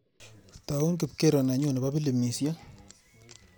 Tau kipkero nenyu nebo pilimisiek.